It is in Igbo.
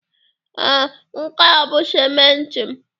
Ee, nke a bụ simenti m.